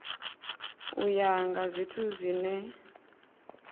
u ya nga zwithu zwine